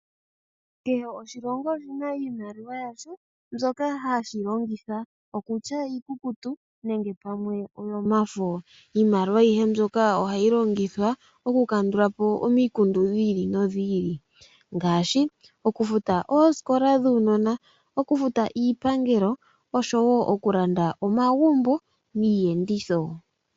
Kehe oshilongo oshina iimaliwa yasho mbyoka hashi longitha, okutya iikukutu nenge pamwe oyo mafo. Iimaliwa ayihe mbyoka ohayi longithwa okukandula po omikundu dhi ili nodhi ili. Ngaashi okufuta oosikola dhuunona, okufuta iipangelo oshowo okulanda omagumbo niiyenditho.